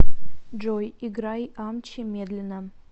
джой играй амчи медленно